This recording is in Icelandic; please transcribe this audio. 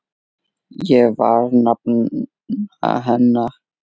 Ég var nafna hennar.